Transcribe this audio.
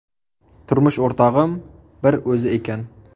Turmush o‘rtog‘im bir o‘zi ekan.